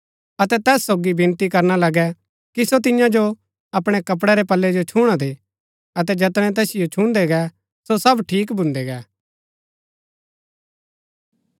अतै तैस सोगी विनती करणा लगै कि सो तियां जो अपणै कपड़ै रै पल्लै जो छुणा दे अतै जैतणै तैसिओ छुन्दै गै सो सब ठीक भून्दै गै